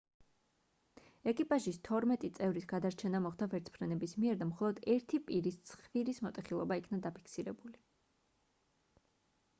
ეკიპაჟის თორმეტი წევრის გადარჩენა მოხდა ვერტმფრენების მიერ და მხოლოდ ერთი პირის ცხვირის მოტეხილობა იქნა დაფიქსირებული